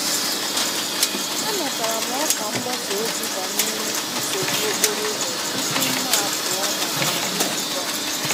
Anatara m ọkwa mgbasa ozi banyere nsogbu okporo ụzọ tupu m apụọ maka nzukọ m.